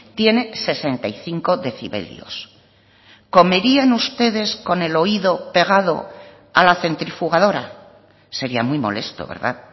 tiene sesenta y cinco decibelios comerían ustedes con el oído pegado a la centrifugadora sería muy molesto verdad